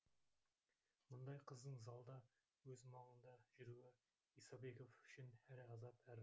мұндай қыздың залда өз маңында жүруі исабеков үшін әрі азап әрі